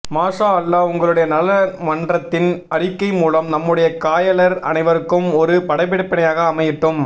மாஷாஅல்லாஹ் உங்களுடைய நலமன்றத்தின் அறிக்கை மூலம் நம்முடைய காயலர் அனைவருக்கும் ஒரு படிப்பினையாக அமையட்டும்